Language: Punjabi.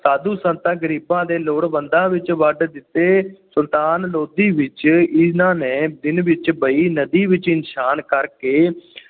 ਸਾਧੂਆਂ-ਸੰਤਾਂ, ਗਰੀਬਾਂ ਤੇ ਲੋੜਵੰਦਾਂ ਵਿਚ ਵੰਡ ਦਿੰਦੇ ਸੁਲਤਾਨ ਲੋਧੀ ਵਿਚ ਇਹਨਾ ਨੇ ਦਿਨ ਵਿੱਚ ਬੇਈਂ ਨਦੀ ਵਿਚ ਇਸ਼ਨਾਨ ਕਰਕੇ